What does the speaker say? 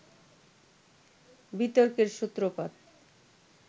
বিতর্কের সূত্রপাত